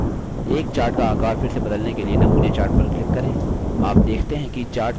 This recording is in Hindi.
एक chart का आकार फिर से बदलने के लिए नमूने chart पर click करें